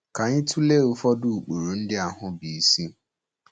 Ka anyị tụlee ụfọdụ ụkpụrụ ndị ahụ bụ́ isi.